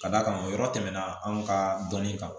Ka d'a kan o yɔrɔ tɛmɛna anw ka dɔnni kan